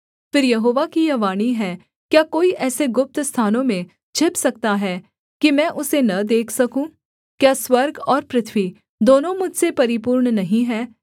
फिर यहोवा की यह वाणी है क्या कोई ऐसे गुप्त स्थानों में छिप सकता है कि मैं उसे न देख सकूँ क्या स्वर्ग और पृथ्वी दोनों मुझसे परिपूर्ण नहीं हैं